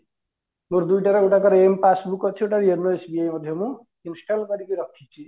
ମୋର ଦିଟା ର ଗୋଟାକରେ m passbook ଅଛି ଗୋଟାକରେ yono SBI ମଧ୍ୟ ନୁହଁ install କରିକି ରଖିଛି